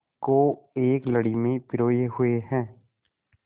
को एक लड़ी में पिरोए हुए हैं